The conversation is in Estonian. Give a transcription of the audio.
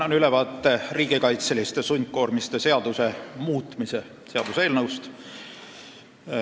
Annan ülevaate riigikaitseliste sundkoormiste seaduse muutmise seaduse eelnõust.